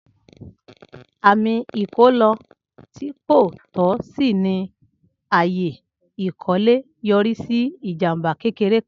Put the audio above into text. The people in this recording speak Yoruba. Ami ikilọ ti ko tọ si ni aaye ikole yori si ijamba kekere kan.